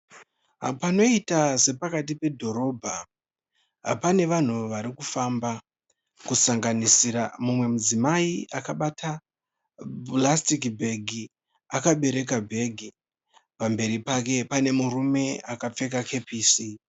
Pqnoita sepakati pedhorobha pane vanhu vari kufamba. Kusanganisira mumwe mudzimai akabata purasitiki bhegi akabereka bhegi. Pamberi pake pane murume akapfeka kepisi.